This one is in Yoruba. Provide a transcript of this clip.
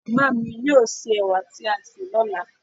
màmá mi yóò sè ewà tí a sè lọ́la